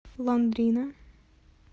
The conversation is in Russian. лондрина